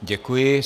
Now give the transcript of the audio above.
Děkuji.